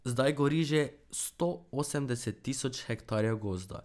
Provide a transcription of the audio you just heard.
Zdaj gori že sto osemdeset tisoč hektarjev gozda.